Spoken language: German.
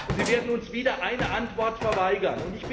Sie werden uns wieder eine Antwort verweigern.